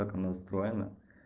как она настроена